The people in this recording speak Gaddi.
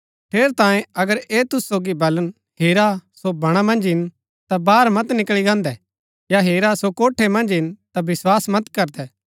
ठेरैतांये अगर ऐह तुसु सोगी बलन हेरा सो बणा मन्ज हिन ता बाहर मत निकळी गान्दै या हेरा सो कोठै मन्ज हिन ता विस्वास मत करदै